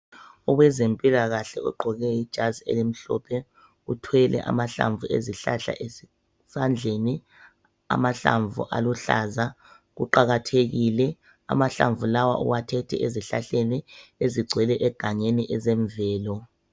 Owezempilakahle ogqoke ijazi elimhlophe uthwele amahlamvu ezihlahla esandleni, amahlamvu aluhlaza kuqakathekile . Amahlamvu lawa uwathethe ezihlahleni ezigcwele egangeni ezemvelo.